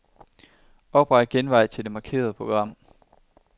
Opret genvej til markerede program.